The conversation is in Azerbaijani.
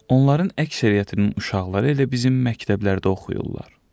Onların əksəriyyətinin uşaqları elə bizim məktəblərdə oxuyurlar.